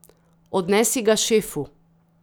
Odnesi ga šefu.